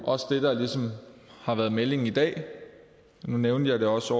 også det der ligesom har været meldingen i dag nu nævnte jeg også